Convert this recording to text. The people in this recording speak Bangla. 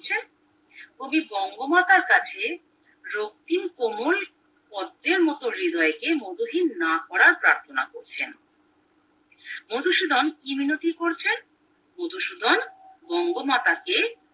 কবি বঙ্গমাতার কাছে রক্তিম কোমল পদ্মের মতো হৃদয়কে মতহীন না করার প্রার্থনা করেছেন মধুসূদন কি মিনতি করছেন মধুসূদন বঙ্গমাতাকে